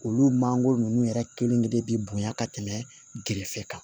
Olu mango ninnu yɛrɛ kelenkelen bɛ bonya ka tɛmɛ gere fɛ kan